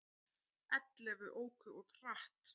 Ellefu óku of hratt